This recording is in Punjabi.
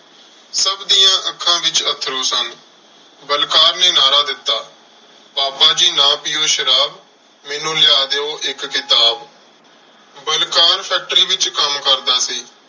ਸਭ ਦੀਆਂ ਅੱਖਾਂ ਵਿੱਚ ਅੱਥਰੂ ਸਨ। ਬਲਕਾਰ ਨੇ ਨਾਅਰਾ ਦਿੱਤਾ, ਪਾਪਾ ਜੀ ਨਾ ਪੀਉ ਸ਼ਰਾਬ, ਮੈਨੂੰ ਲਿਆ ਦਿਉ ਇੱਕ ਕਿਤਾਬ। ਬਲਕਾਰ factory ਵਿੱਚ ਕੰਮ ਕਰਦਾ ਸੀ।